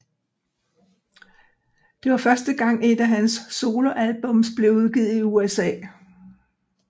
Det var første gang et af hans soloalbums blev udgivet i USA